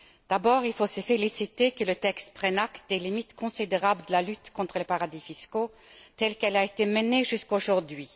D'abord, il faut se féliciter que le texte prenne acte des limites considérables de la lutte contre les paradis fiscaux telle qu'elle a été menée jusqu'aujourd'hui.